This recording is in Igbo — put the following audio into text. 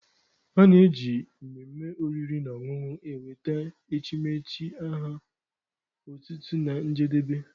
A na-eji mmemme oriri na ọṅụṅụ ewete echimechi aha otutu na njedebe